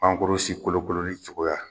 si kolokololi cogoya